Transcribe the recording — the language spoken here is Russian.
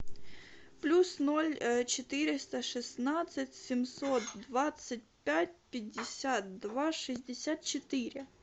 плюс ноль четыреста шестнадцать семьсот двадцать пять пятьдесят два шестьдесят четыре